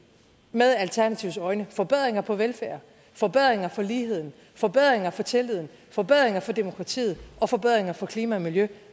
med alternativets øjne vil forbedringer for velfærden forbedringer for ligheden forbedringer for tilliden forbedringer for demokratiet og forbedringer for klima og miljø